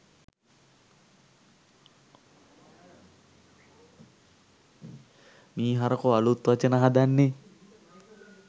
මී හරකො අළුත් වචන හදන්නෙ?